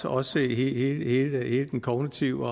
også hele den kognitive